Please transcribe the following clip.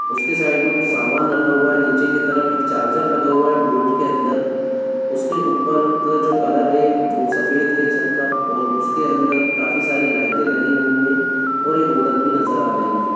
उसके साइड में कुछ समान रखा हुआ है नीचे की तरफ एक चार्जर लगा हुआ है बोर्ड के अंदर उसके ऊपर का जो कलर है वो सफेद है छत का और उसके अंदर काफी सारी लाइटें लगी हुई है और एक औरत भी नजर आ रही है।